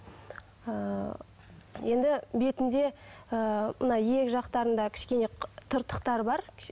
ы енді бетінде ы мына иек жақтарында кішкене тыртықтары бар